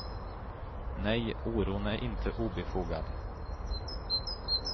Nej, oron är inte obefogad.